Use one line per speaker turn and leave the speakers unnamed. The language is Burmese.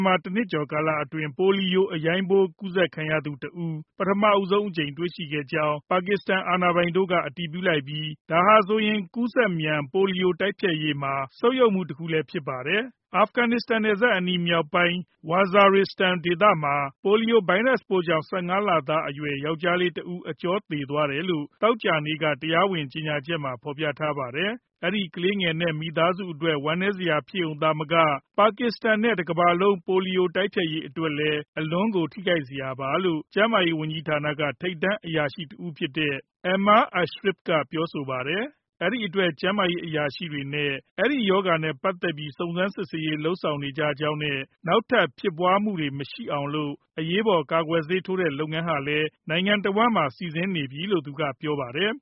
မှာ ၁ နှစ်ကျော် ကာလအတွင်း ပိုလီယိုအရိုင်းပိုး ကူးစက်ခံရသူတဦး ပထမဆုံးအကြိမ် တွေ့ရှိကြောင်း ပါကစ္စတန် အာဏာပိုင်တို့က အတည်ပြုလိုက်ပြီး ဒါဟာဆိုရင် ကူးစက်မြန် ပိုလီယိုတိုက်ဖျက်ရေးမှာ ဆုတ်ယုတ်မှုတခုလည်း ဖြစ်ပါတယ်။ အာဖဂန်နစ္စတန်နယ်စပ်အနီးရှိ မြောက်ပိုင်း Waziristan ဒေသမှာ ပိုလီယိုဗိုင်းရပ်စ်ကြောင့် ၁၅ လသားအရွယ် ယောကျ်ားလေးတဦး အကြောသေသွားတယ်လို့ သောကြာနေ့က တရားဝင် ကြေညာချက်မှာ ဖော်ပြထားပါတယ်။ အဲဒီကလေးငယ်နဲ့ သူ့မိသားစုအတွက် ဝမ်းနည်းစရာ ဖြစ်ရုံသာမက ပါကစ္စတန်နဲ့ တကမ္ဘာလုံး ပိုလီယိုရောဂါ တိုက်ဖျက်ရေးအတွက်လည်း အလွန်ကို ထိခိုက်စရာပါလို့ ကျန်းမာရေးဝန်ကြီးဌာနက ထိပ်တန်းအရာရှိတဦးဖြစ်တဲ့ Aamir Ashraf က ပြောပါတယ်။ အဲဒီအတွက် ကျန်းမာရေးအရာရှိတွေနဲ့ အဲဒီရောဂါနဲ့ပတ်သက်ပြီး စုံစမ်းစစ်ဆေးရေး လုပ်ဆောင်နေကြကြောင်းနဲ့ နောက်ထပ် ဖြစ်ပွားမှုတွေ မရှိအောင်လို့ အရေးပေါ် ကာကွယ်ဆေးထိုးတဲ့ လုပ်ငန်းဟာလည်း နိုင်ငံတဝန်းမ
ှာ စီစဉ်နေပြီလို့ သူကပြောပါတယ်